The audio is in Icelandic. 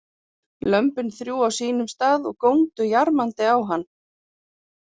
Lömbin þrjú á sínum stað og góndu jarmandi á hann.